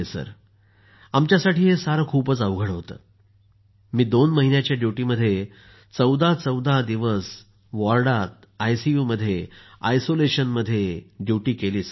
sir आमच्यासाठी हे सारं खूप अवघड होतं मी दोन महिन्याच्या ड्युटीमध्ये चौदा चौदा दिवस वॉर्डात आयसीयू मध्ये आणि आयसोलेशनमध्ये ड्युटी केली सर